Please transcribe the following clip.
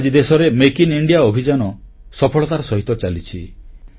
ଆଜି ଦେଶରେ make in India ଅଭିଯାନ ସଫଳତାର ସହିତ ଚାଲିଛି